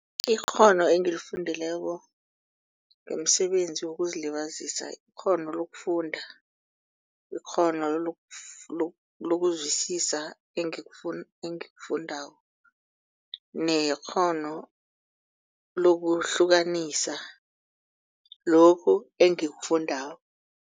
Ikghono engilifundileko umsebenzi wokuzilibazisa. Ikghono lokufunda, ikghono lokuzwisisa engikufundako nekghono lokuhlukanisa lokhu engikufundako.